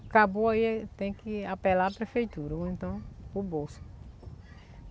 Acabou aí tem que apelar a prefeitura ou então o bolso.